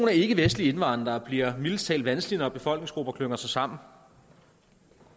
ikkevestlige indvandrere bliver mildest talt vanskelig når befolkningsgrupper klynger sig sammen